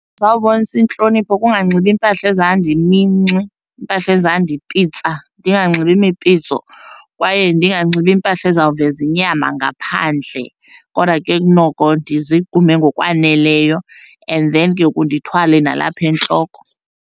zawubonisa intlonipho kunganxibi iimpahla ezandiminxi, impahla ezandipitsa, ndinganxibi imipitso kwaye ndinganxibi iimpahla ezawuveza inyama ngaphandle, kodwa ke kunoko ndizigqume ngokwaneleyo and then ke ngoku ndithwale nalapha entloko.